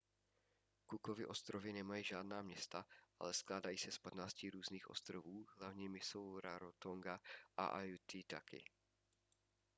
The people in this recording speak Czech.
cookovy ostrovy nemají žádná města ale skládají se z 15 různých ostrovů hlavními jsou rarotonga a aitutaki